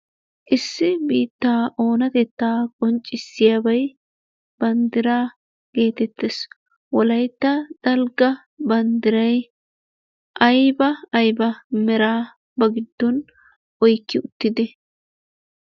Issi biittaa oonatetta qoncciyabay banddiraa gettettees, wolaytta dalgga banddiray ayba ayba meraa ba giddon oykki uttidee?